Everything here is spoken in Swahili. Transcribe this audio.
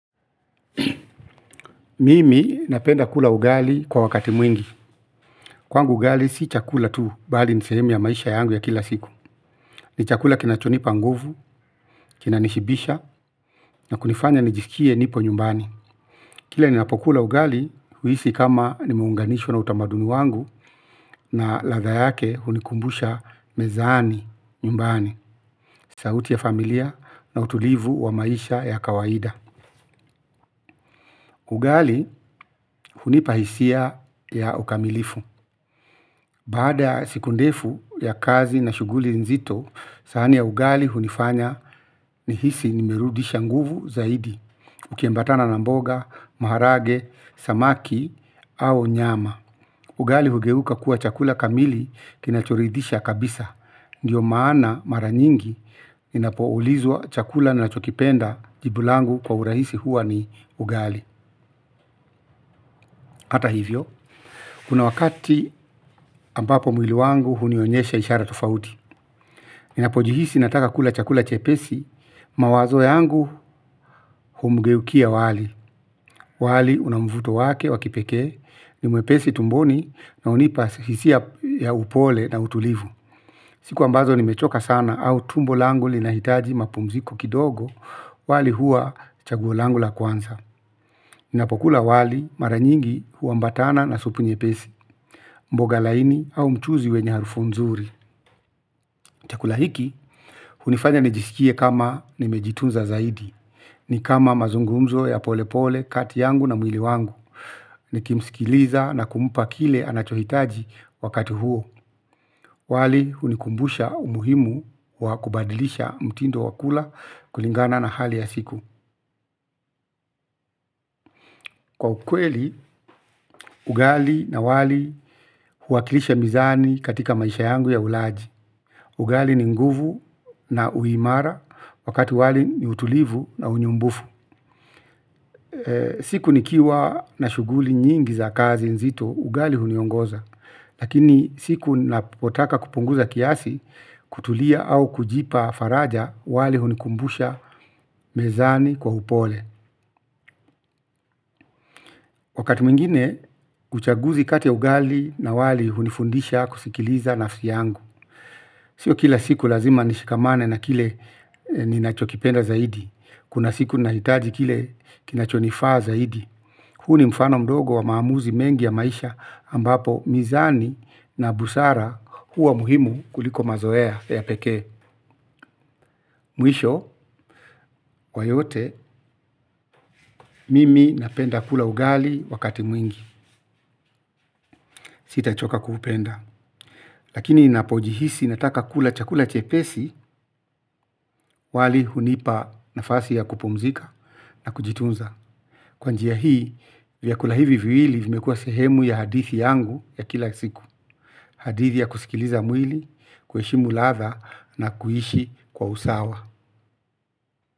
Mimi napenda kula ugali kwa wakati mwingi. Kwangu ugali si chakula tu, bali ni sehemu ya maisha yangu ya kila siku. Ni chakula kinachonipa nguvu, kinanishibisha, na kunifanya nijisikie nipo nyumbani. Kila ninapokula ugali huhisi kama nimeunganishwa na utamaduni wangu, na ladha yake hunikumbusha mezani nyumbani, sauti ya familia, na utulivu wa maisha ya kawaida. Ugali, hunipa hisia ya ukamilifu. Baada ya siku ndefu ya kazi na shughuli nzito, sahani ya ugali hunifanya ni hisi nimerudisha nguvu zaidi. Ukiambatana na mboga, maharage, samaki au nyama. Ugali hugeuka kuwa chakula kamili kinachoridisha kabisa. Ndiyo maana mara nyingi ninapoulizwa chakula nachokipenda jibu langu kwa urahisi huwa ni ugali. Ata hivyo. Kuna wakati ambapo mwili wangu hunionyesha ishara tofauti. Ninapojihisi nataka kula chakula chepesi, mawazo yangu humgeukia wali. Wali unamvuto wake wa kipekee ni mwepesi tumboni na hunipa hisia ya upole na utulivu. Siku ambazo nimechoka sana au tumbo langu linahitaji mapumziko kidogo wali hua chaguo langu la kwanza. Ninapokula wali mara nyingi huambatana na supu nyepesi, mboga laini au mchuzi wenye harufu nzuri. Chakula hiki, hunifanya nijisikie kama nimejitunza zaidi. Nikama mazungumzo ya pole pole kati yangu na mwili wangu nikimsikiliza na kumpa kile anachohitaji wakati huo. Wali hunikumbusha umuhimu wa kubadilisha mtindo wakula kulingana na hali ya siku. Kwa ukweli, ugali na wali huwakilisha mezani katika maisha yangu ya ulaji. Ugali ni nguvu na uimara wakati wali ni utulivu na unyumbufu. Siku nikiwa na shughuli nyingi za kazi nzito, ugali huniongoza. Lakini siku napotaka kupunguza kiasi, kutulia au kujipa faraja wali hunikumbusha mezani kwa upole. Wakati mwingine, uchaguzi kati ugali na wali hunifundisha kusikiliza nafsi yangu. Siyo kila siku lazima nishikamane na kile ninachokipenda zaidi. Kuna siku nahitaji kile kinachonifaa zaidi. Huu ni mfano mdogo wa maamuzi mengi ya maisha ambapo mizani na busara huwa muhimu kuliko mazoea ya peke. Mwisho, kwa yote, mimi napenda kula ugali wakati mwingi. Sitachoka kuupenda. Lakini ninapojihisi nataka kula chakula chepesi, wali hunipa nafasi ya kupumzika na kujitunza. Kwa njia hii, vyakula hivi viwili vimekua sehemu ya hadithi yangu ya kila siku. Hadithi ya kusikiliza mwili, ku heshimu ladha na kuishi kwa usawa.